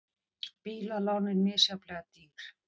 Bílalánin misjafnlega dýr